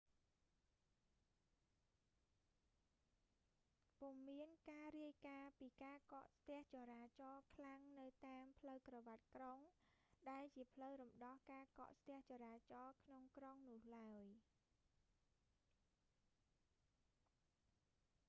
ពុំមានការរាយការណ៍ពីការកកស្ទះចរាចរខ្លាំងនៅតាមផ្លូវក្រវាត់ក្រុង ដែលជាផ្លូវរំដោះការកកស្ទះចរាចរក្នុងក្រុងនោះឡើយ